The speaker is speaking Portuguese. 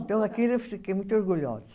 Então, aquilo eu fiquei muito orgulhosa.